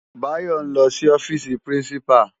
Bayo n lò si òfisi pirinsipá